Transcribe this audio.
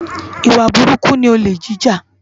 Iwá búrúkú ni ólé jijá